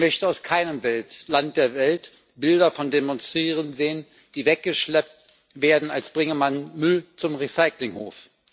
Ich möchte aus keinem Land der Welt Bilder von Demonstrierenden sehen, die weggeschleppt werden, als bringe man Müll zum Recyclinghof.